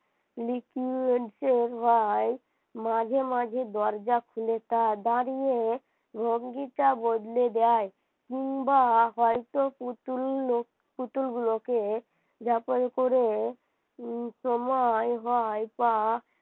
মাঝে মাঝে দরজা খুলে তা দাঁড়িয়ে ভঙ্গিটা বদলে যায় কিংবা হয়তো পুতুল পুতুলগুলোকে ঝাঁপায় করে সময় হয় বা